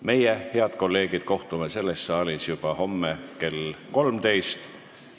Meie, head kolleegid, kohtume selles saalis juba homme kell 13.